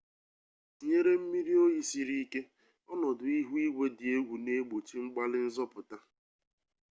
tinyere mmiri oyi siri ike ọnọdụ ihu igwe dị egwu na egbochi mgbalị nzọpụta